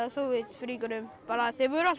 Sovétríkjunum þeir voru